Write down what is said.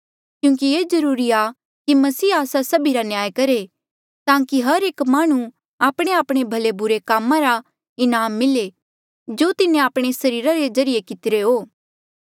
क्यूंकि ये जरूरी आ कि मसीह आस्सा सभिरा न्याय करहे ताकि हर एक माह्णुं आपणेआपणे भले बुरे कामा रा इनाम मिले जो तिन्हें आपणे सरीरा रे ज्रीए कितिरे हो